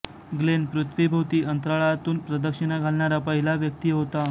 Glenn पृथ्वीभोवती अंतराळातून प्रदक्षिणा घालणारा पहिला व्यक्ती होता